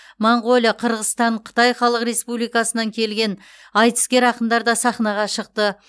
моңғолия қырғызстан қытай халық республикасынан келген айтыскер ақындар да сахнаға шықты